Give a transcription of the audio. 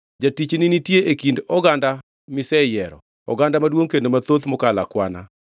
Jatichni nitie ka e kind oganda miseyiero, oganda maduongʼ kendo mathoth mokalo akwana.